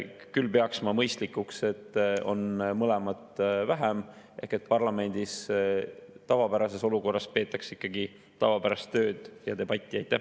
Küll peaksin ma mõistlikuks, et on mõlemat vähem ehk et parlamendis tavapärases olukorras tehakse ikkagi tavapärast tööd ja peetakse debatti.